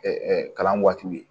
kalan waatiw ye